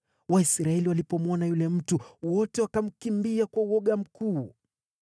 Waisraeli walipomwona yule mtu, wote wakamkimbia kwa woga mkuu.